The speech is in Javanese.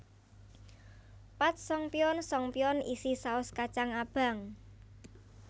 Patsongpyeon songpyeon isi saos kacang abang